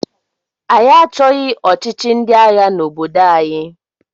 Anyị achọghị ọchịchị ndị agha n'obodo anyị.